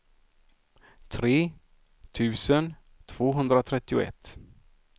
tre tusen tvåhundratrettioett